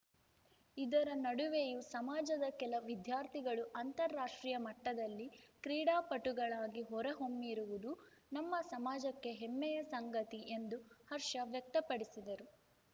ಇದರ ನಡುವೆಯು ಸಮಾಜದ ಕೆಲ ವಿದ್ಯಾರ್ಥಿಗಳು ಅಂತಾರಾಷ್ಟ್ರೀಯ ಮಟ್ಟದಲ್ಲಿ ಕ್ರೀಡಾಪಟುಗಳಾಗಿ ಹೊರಹೊಮ್ಮಿರುವುದು ನಮ್ಮ ಸಮಾಜಕ್ಕೆ ಹೆಮ್ಮೆಯ ಸಂಗತಿ ಎಂದು ಹರ್ಷ ವ್ಯಕ್ತಪಡಿಸಿದರು